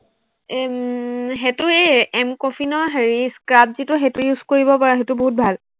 এৰ উম সেইটো এই এম কফিনৰ হেৰি scrub যিটো, সেইটো use কৰিব পাৰ, স্ইটো বহুত ভাল।